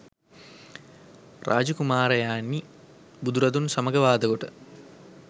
රාජ කුමාරයෙනි, බුදුරදුන් සමග වාදකොට